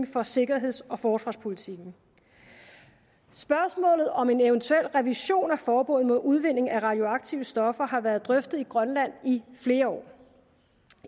for sikkerheds og forsvarspolitikken spørgsmålet om en eventuel revision af forbuddet mod udvinding af radioaktive stoffer har været drøftet i grønland i flere år